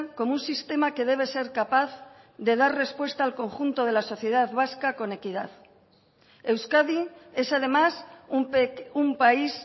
como un sistema que debe ser capaz de dar respuesta al conjunto de la sociedad vasca con equidad euskadi es además un país